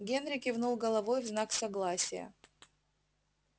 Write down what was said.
генри кивнул головой в знак согласия